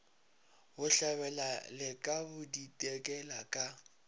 bohlabela le ka bodikela ka